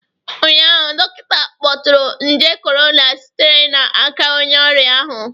Ụnyaahụ, dọkịta ahụ kpọtụrụ nje corona sitere n'aka onye ọrịa ahụ